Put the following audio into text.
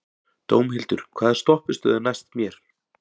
Dómhildur, hvaða stoppistöð er næst mér?